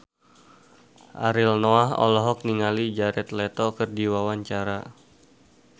Ariel Noah olohok ningali Jared Leto keur diwawancara